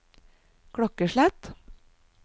klokkeslett